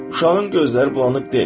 Uşağın gözləri bulanıq deyil.